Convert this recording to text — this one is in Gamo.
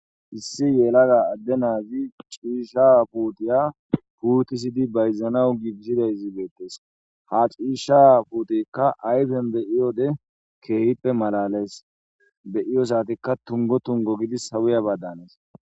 Issi yelaga adde naazi ciisha puutiya puutisidi bayzanawu gigshidayzibeettes ha ciisha puutikka ayfen beyiyode keehippe malales beyiyo saatikka tungo tungo gidi hawuya baddanees.